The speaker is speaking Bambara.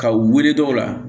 Ka wele dɔw la